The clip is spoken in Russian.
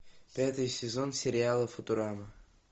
пятый сезон сериала футурама